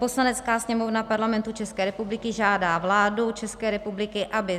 "Poslanecká sněmovna Parlamentu České republiky žádá vládu České republiky, aby